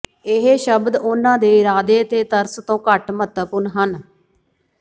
ਇਹ ਸ਼ਬਦ ਉਹਨਾਂ ਦੇ ਇਰਾਦੇ ਅਤੇ ਤਰਸ ਤੋਂ ਘੱਟ ਮਹੱਤਵਪੂਰਨ ਹਨ